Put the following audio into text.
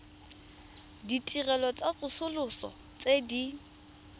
ditirelo tsa tsosoloso tse di